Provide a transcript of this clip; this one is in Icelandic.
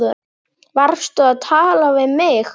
Varstu að tala við mig?